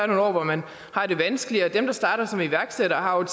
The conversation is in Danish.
nogle år hvor man har det vanskeligt dem der starter som iværksættere har